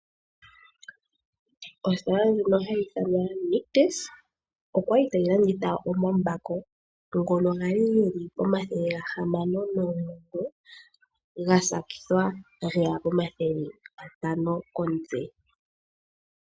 Ositola ndjoka hayi ithwanwa Nictus otayi landitha omambako ngono gali geli pomathele gahamano nomugoyi, gakululwa geya komathele gatano komutse.